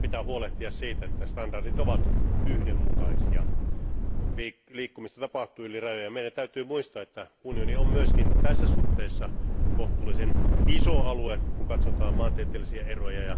Meidän pitää huolehtia siitä, että standardit ovat yhdenmukaisia. Liikkumista tapahtuu yli rajojen ja meidän täytyy muistaa, että unioni on myöskin tässä suhteessa kohtuullisen iso alue, kun katsotaan maantieteellisiä eroja.